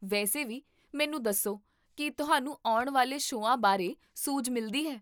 ਵੈਸੇ ਵੀ, ਮੈਨੂੰ ਦੱਸੋ, ਕੀ ਤੁਹਾਨੂੰ ਆਉਣ ਵਾਲੇ ਸ਼ੋਆਂ ਬਾਰੇ ਸੂਝ ਮਿਲਦੀ ਹੈ?